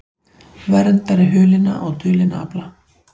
Verndari hulinna og dulinna afla